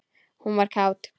Hún var kát.